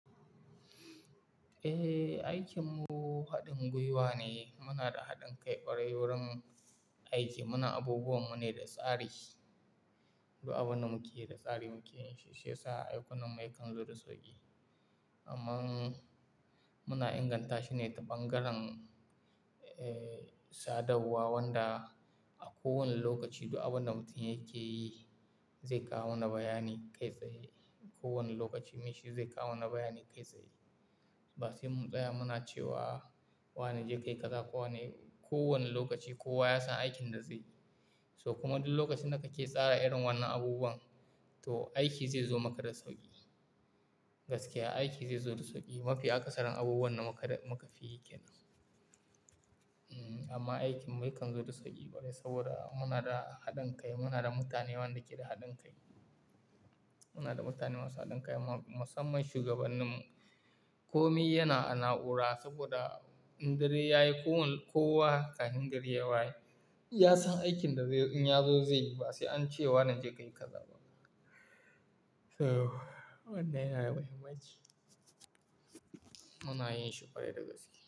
Eh, aikin mu haɗin gwiwa ne. Muna da haɗin kai ƙwarai wurin aiki. Muna abubuwan mu ne da tsari, duk abunda muke da tsari muke yin shi sai a aikin mu yakan zo da sauƙi. Amma muna inganta shi ne ta bangaren, eh, sadarwa wanda a kowane lokaci duk abunda mutum yake yi zai kawo wani bayani kai tsaye. Kowane lokaci mai shi zai kawo wani bayani kai tsaye. Basai mun tsaya muna cewa wane ya je kai kaza ko wane-- kowane lokaci kowa ya san aikin da zaiyi. So kuma duk lokacin da kake tsara irin wannan abubuwan, to aiki zai zo maka da sauƙi. Gaskiya, aiki zai zo da sauƙi. Mafi aka sarin abubuwan da muka fi yikenan. Hmm, amma aikin mu yakan zo da sauƙi kwarai saboda muna da haɗin kai, muna da mutane wanda ke da haɗin kai. Muna da mutane masu haɗin kai, musamman shugabannin mu. Komi yana a na'ura saboda in dare yayi kowane, kowa kahin gari yawaye. Ya san aikin da in ya zo zai yi basai an ce wa wane ya je kai kaza. So wannan yana da mahimmanci. Muna yin shi kwarai da gaske.